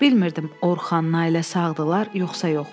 Bilmirdim, Orxanla ailəsi sağdırlar, yoxsa yox?